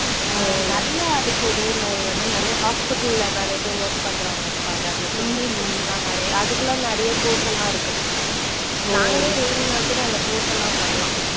அஹ் நிறைய அதுக்கு இதே மாதிரி வந்து நிறைய hospital ல நிறைய பேரு work பண்றவங்க இருப்பாங்க. அந்த technicians எல்லாம் நிறைய அதுக்கெல்லாம் நிறைய course எல்லாம் இருக்கு. நாங்களே வேணும்னா கூட அந்த course எல்லாம் பண்ணலாம்.